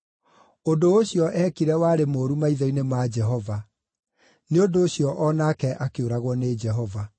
Ũndũ ũcio eekire warĩ mũũru maitho-inĩ ma Jehova; nĩ ũndũ ũcio o nake akĩũragwo nĩ Jehova.